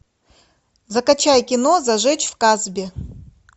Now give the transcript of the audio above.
закачай кино зажечь в касбе